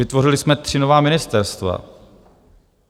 Vytvořili jsme tři nová ministerstva.